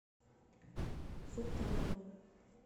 султанову